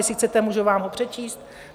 Jestli chcete, můžu vám ho přečíst.